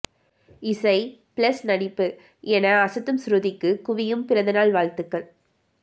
இசை ப்ளஸ் நடிப்பு என அசத்தும் ஸ்ருதிக்கு குவியும் பிறந்தநாள் வாழ்த்துகள்